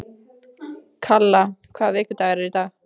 Kalla, hvaða vikudagur er í dag?